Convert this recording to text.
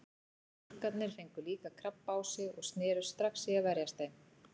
Skúrkarnir fengu líka krabba á sig og snerust strax í að verjast þeim.